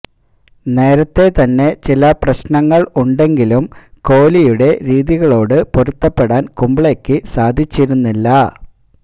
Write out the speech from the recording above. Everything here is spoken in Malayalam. നേരത്തെ തന്നെ ചില പ്രശ്നങ്ങള് ഉണ്ടെങ്കിലും കോലിയുടെ രീതികളോട് പൊരുത്തപ്പെടാന് കുംബ്ലെയ്ക്ക് സാധിച്ചിരുന്നില്ല